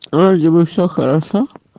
вроде бы всё хорошо